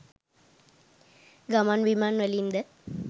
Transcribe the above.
ගමන්බිමන් වලින්ද